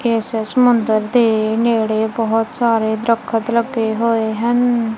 ਈਸ ਸਮੁੰਦਰ ਦੇ ਨੇੜੇ ਬਹੁਤ ਸਾਰੇ ਦਰਖਤ ਲੱਗੇ ਹੋਏ ਹਨ।